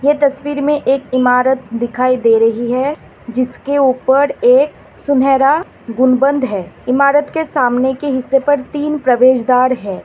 त स्वीर में एक इमारत दिखाई दे रही है जिसके ऊपर एक सुनहरा गुण बंद है इमारत के सामने के हिस्से पर तीन प्रवेश द्वार है।